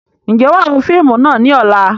Ǹjẹ́ wàá wo fíìmù náà ni ọ̀la?